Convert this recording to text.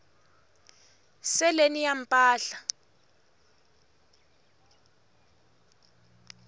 seleni ya mpahla